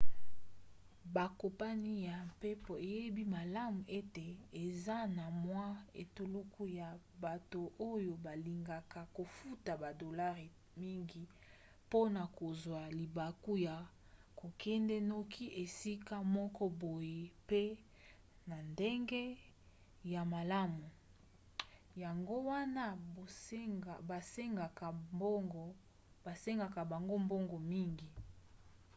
bakompani ya mpepo eyebi malamu ete eza na mwa etuluku ya bato oyo balingaka kofuta badolare mingi mpona kozwa libaku ya kokende noki esika moko boye mpe na ndenge ya malamu yango wana basengaka bango mbongo mingi